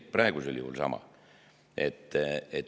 Praegusel juhul on samamoodi.